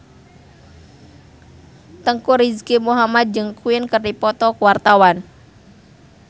Teuku Rizky Muhammad jeung Queen keur dipoto ku wartawan